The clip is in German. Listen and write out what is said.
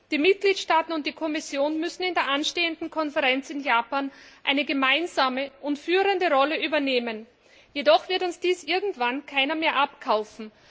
Die Mitgliedstaaten und die Kommission müssen auf der anstehenden Konferenz in Japan gemeinsam eine führende Rolle übernehmen. Jedoch wird uns dies irgendwann niemand mehr abkaufen.